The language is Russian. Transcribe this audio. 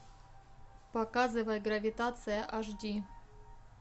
показывай гравитация аш ди